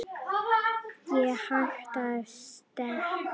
Ekki hægt að steypa.